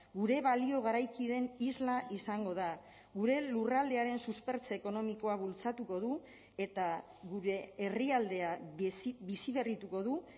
gure balio garaikideen isla izango da gure lurraldearen suspertze ekonomikoa bultzatuko du eta gure herrialdea biziberrituko du